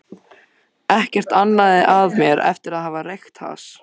Ekkert amaði að mér eftir að hafa reykt hass.